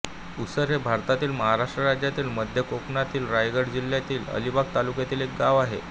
उसर हे भारतातील महाराष्ट्र राज्यातील मध्य कोकणातील रायगड जिल्ह्यातील अलिबाग तालुक्यातील एक गाव आहे